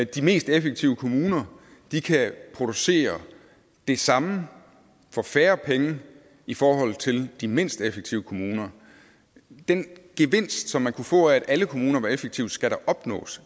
de mest effektive kommuner kan producere det samme for færre penge i forhold til de mindst effektive kommuner den gevinst som man kunne få af at alle kommuner var effektive skal da opnås